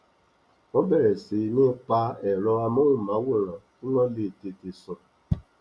wọn bẹrẹ sí ní pa ẹrọ amóhùnmáwòrán kíwọn le tètè sùn